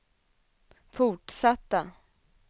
fortsatta